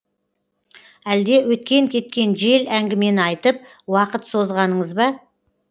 әлде өткен кеткен жел әңгімені айтып уақыт созғаныңыз ба